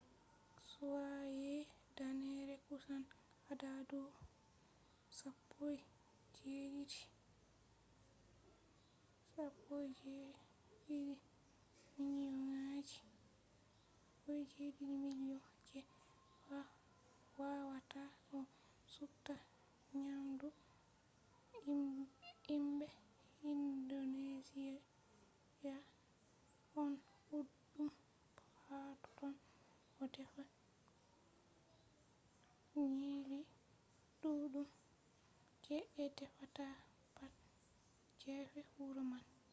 be danneere kusan adadu 17,000 je a wawata a supta nyamdu himɓe indonesiya ɗon ɗuɗɗum hatotton ɓe ɗo defa nyiiri ɗuɗɗum je ɓe defata pat gefe wuro man